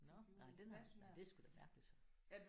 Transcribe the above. Nåh nej den er nej det er sgu da mærkeligt så